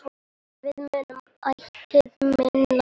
Við munum ætíð minnast þín.